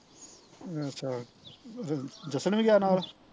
ਅੱਛਾ ਜਸਣ ਵੀ ਗਿਆ ਨਾਲ਼